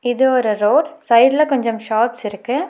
இது ஒரு ரோட் சைட்ல கொஞ்சம் ஷாப்ஸ் இருக்கு.